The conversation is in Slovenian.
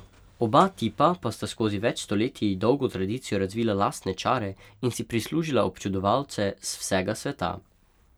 Oba tipa pa sta skozi več stoletij dolgo tradicijo razvila lastne čare in si prislužila občudovalce z vsega sveta.